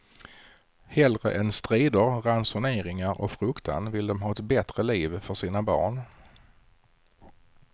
Hellre än strider, ransoneringar och fruktan vill de ha ett bättre liv för sina barn.